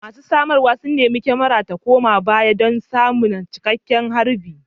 Masu samarwa sun nemi kyamarar ta koma baya don samun cikakken harbi